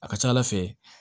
A ka ca ala fɛ